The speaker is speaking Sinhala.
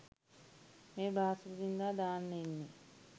මේ බ්‍රහස්පතින්දා දාන්න ඉන්නේ.